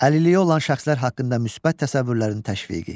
Əlilliyi olan şəxslər haqqında müsbət təsəvvürlərin təşviqi.